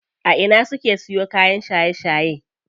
A ina suke siyo kayan shaye shaye?